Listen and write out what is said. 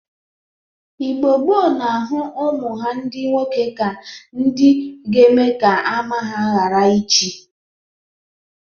Igbo gboo na-ahụ umụ ha ndị nwoke ka ndị ga-eme ka ama ha ghara ịchị.